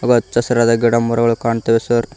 ಹಚ್ಚ ಹಸಿರಾದ ಗಿಡ ಮರಗಳು ಕಾಣ್ತಾವೆ ಸರ್ .